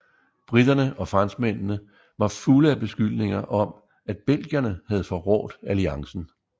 Briterne og franskmændene var fulde af beskyldninger om at belgierne havde forrådt alliancen